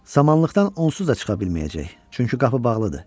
Samanlıqdan onsuz da çıxa bilməyəcək, çünki qapı bağlıdır.